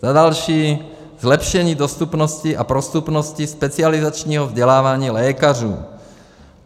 Za další, zlepšení dostupnosti a prostupnosti specializačního vzdělávání lékařů.